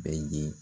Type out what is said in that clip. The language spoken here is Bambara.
Bɛɛ ye